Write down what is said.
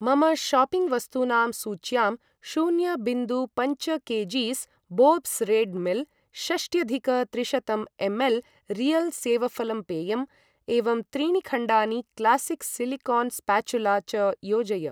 मम शाप्पिङ्ग् वस्तूनां सूच्यां शून्य बिन्दु पञ्च K Gs Bob's Red Mill, षष्ट्यधिक त्रिशतं एम् एल् रियल् सेवफलम् पेयम् एवं त्रीणि खण्डानि क्लासिक् सिलिकोन् स्पाचुला च योजय।